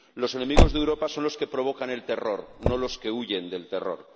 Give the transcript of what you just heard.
Los enemigos de Europa son los que provocan el terror, no los que huyen del terror.